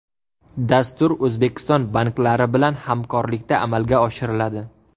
Dastur O‘zbekiston banklari bilan hamkorlikda amalga oshiriladi.